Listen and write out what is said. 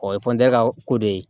O ye ka ko dɔ ye